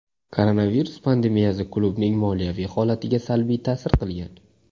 Koronavirus pandemiyasi klubning moliyaviy holatiga salbiy ta’sir qilgan.